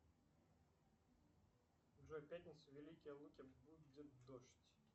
джой в пятницу в великие луки будет дождь